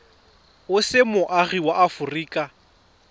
o se moagi wa aforika